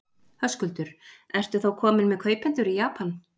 Höskuldur: Ertu þá kominn með kaupendur í Japan?